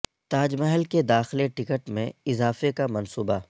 تاج محل کے داخلہ ٹکٹ میں اضافہ کا منصوبہ